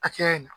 Hakɛya in na